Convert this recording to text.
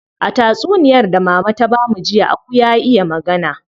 A tatsuniyar da mama ta bamu jiya, aku ya iya magana.